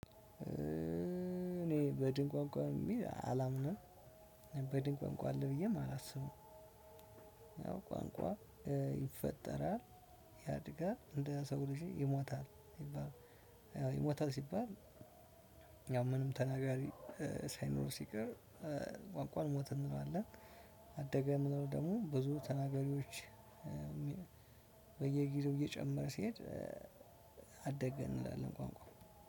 እኔ በድን ቋንቋ የሚል አላምንም። በድን ቋንቋ አለ ብዬም አላስብም። ቋንቋ ይፈጠራል ያድጋል እንደ ሰው ልጅ ይሞታል። ይባል ያው ይሞታል ሲባል። ያው ምንም ተናጋሪ ሳይኖር ሲቀር ቋንቋን ሞተ እንለዋለን። አደገ የምንለው ደግሞ ብዙ ተናጋሪዎች በየጊዜው እየጨመረ ሲሄድ። አደገ እንላለን ቋንቋ